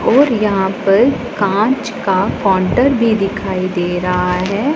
और यहां पर कांच का काउंटर भी दिखाई दे रहा है।